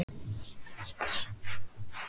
Höskuldur: En þú útilokar ekki neitt?